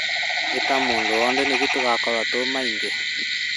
Ĩta mũndũ wothe nĩguo tũgakorwo tũrĩ aingĩ